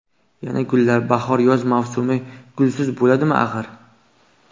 Yana gullar: bahor-yoz mavsumi gulsiz bo‘ladimi, axir?